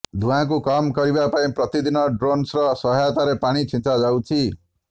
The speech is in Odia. ଧୂଆଁକୁ କମ୍ କରିବା ପାଇଁ ପ୍ରତିଦିନ ଡ୍ରୋନ୍ସର ସହାୟତାରେ ପାଣି ଛିଂଚାଯାଉଛି